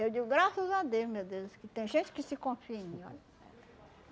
Eu digo graças a Deus, meu Deus, que tem gente que se confia em mim, olha.